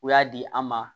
U y'a di an ma